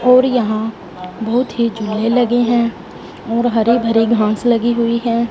और यहां बहोत ही झूले लगे हैं और हरे भरे घास लगी हुई है।